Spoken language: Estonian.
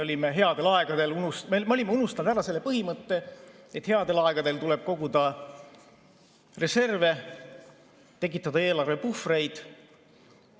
Me olime unustanud ära selle põhimõtte, et headel aegadel tuleb koguda reserve, tekitada eelarvepuhvreid.